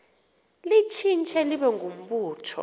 litshintshe libe ngumbutho